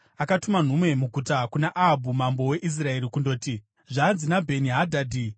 Akatuma nhume muguta kuna Ahabhu mambo weIsraeri kundoti, “Zvanzi naBheni-Hadhadhi,